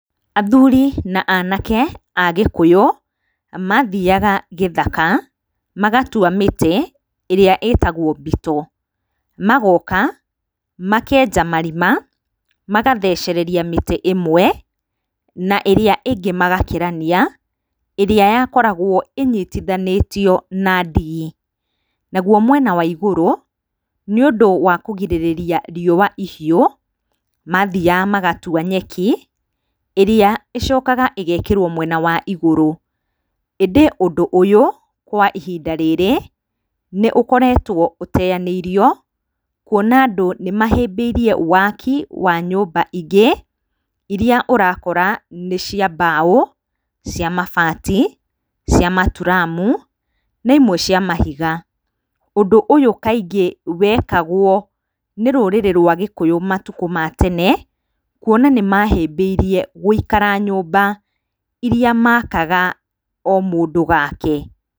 Athuri na anake a Gĩkũyũ mathiaga gĩthaka magatua mĩtĩ ĩrĩa ĩtagwo mbito, magoka makenja marima, magathecereria mĩtĩ ĩmwe, na ĩrĩa ĩngĩ magakĩrania ĩrĩa yakoragwo ĩnyitithanĩtio na ndigi. Na guo mwena wa igũrũ, nĩ ũndíĩ wa kũgirĩrĩria riũa ihiũ, mathiaga magatua nyeki, ĩrĩa ĩcokaga ĩgekĩrwo mwena wa ĩgũrũ. ĩndĩ ũndũ ũyũ kwa ihinda rĩrĩ nĩ ũkoretwo ũteanĩirio, kuona andũ nĩ mahĩmbĩirie waki wa nyũmba ingĩ iria ũrakora nĩ cia mbaũ, cia mabati, cia maturamu, na imwe cia mahiga. Ũndũ ũyũ kaingĩ wekagwo nĩ rũrĩrĩ rwa Gĩkũyũ matukũ ma tene kuona nĩ mahĩmbĩirie gũikara nyũmba iria makaga o mũndũ gake.